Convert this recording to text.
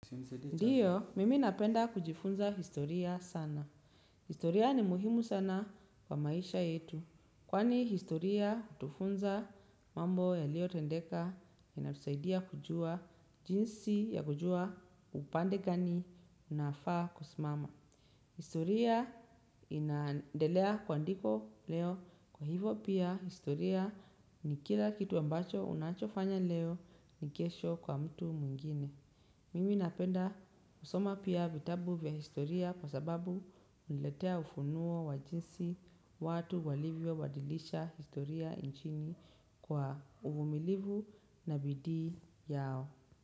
Ndiyo, mimi napenda kujifunza historia sana. Historia ni muhimu sana kwa maisha yetu. Kwani historia hutufunza mambo yaliyotendeka inatusaidia kujua jinsi ya kujua upande gani unafaa kusimama. Historia inaendelea kuandikwa leo kwa hivyo pia historia ni kila kitu ambacho unachofanya leo ni kesho kwa mtu mwingine. Mimi napenda kusoma pia vitabu vya historia kwa sababu huniletea ufunuo wa jinsi watu walivyo badilisha historia nchini kwa uvumilivu na bidii yao.